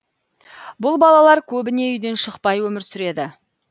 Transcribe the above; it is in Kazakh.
бұл балалар көбіне үйден шықпай өмір сүреді